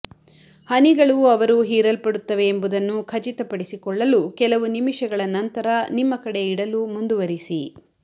ಹನಿಗಳು ಅವರು ಹೀರಲ್ಪಡುತ್ತವೆ ಎಂಬುದನ್ನು ಖಚಿತಪಡಿಸಿಕೊಳ್ಳಲು ಕೆಲವು ನಿಮಿಷಗಳ ನಂತರ ನಿಮ್ಮ ಕಡೆ ಇಡಲು ಮುಂದುವರಿಸಿ